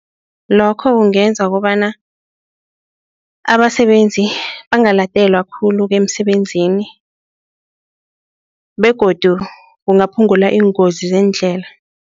Lokho kungenza kobana abasebenzi bangaladelwa khulu emsebenzini begodu kungaphungula iingozi zeendlela.